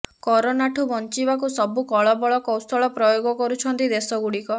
କରୋନାଠୁ ବଞ୍ଚିବାକୁ ସବୁ କଳବଳ କୌଶଳ ପ୍ରୟୋଗ କରୁଛନ୍ତି ଦେଶଗୁଡ଼ିକ